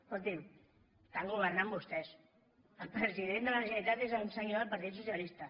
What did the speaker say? escoltin estan governant vostès el president de la generalitat és un senyor del partit socialista